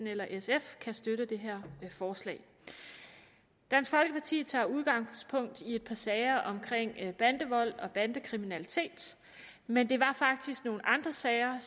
eller sf kan støtte det her forslag dansk folkeparti tager udgangspunkt i et par sager om bandevold og bandekriminalitet men det var faktisk nogle andre sager